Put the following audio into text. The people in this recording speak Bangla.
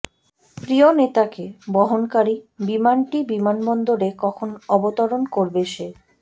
প্রিয় নেতাকে বহনকারী বিমানটি বিমানবন্দরে কখন অবতরণ করবে সে